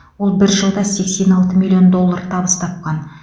ол бір жылда сексен алты миллион доллар табыс тапқан